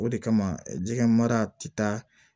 O de kama jɛgɛ mara ti taa